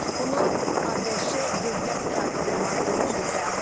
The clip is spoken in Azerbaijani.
Bunu ABŞ dövlət katibi Marko Rubio bəyan edib.